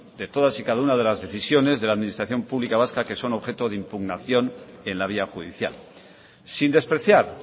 de todas y cada una de las decisiones de la administración pública vasca que son objeto de impugnación en la vía judicial sin despreciar